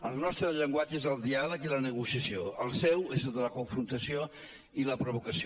el nostre llenguatge és el diàleg i la negociació el seu és el de la confrontació i la provocació